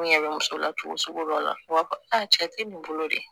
N ɲɛ bɛ muso la cogo sugu dɔ la u b'a fɔ a cɛ tɛ nin bolo de